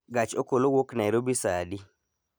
Gach okolo wuok nairobi saa adi